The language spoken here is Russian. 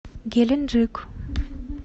геленджик